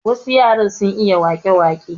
Wasu yaran sun iya wake wake.